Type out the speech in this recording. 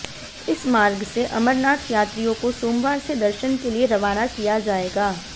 इस मार्ग से अमरनाथ यात्रियों को सोमवार से दर्शन के लिए रवाना किया जाएगा